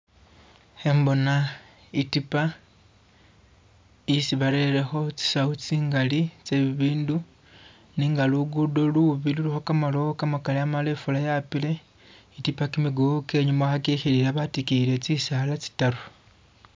hembona itiipa isi balereho tsi sawu tsingali tse bibindu nenga lugudo lubi luliho kamalowo kamakali, amala ifula yapile, itiipa kimiguwu kyenyuma hakihilila batikiyile tsisaala tsitaru